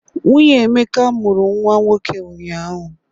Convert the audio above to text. Nwunye Emeka mụrụ nnwa nwoke ụnyaahụ.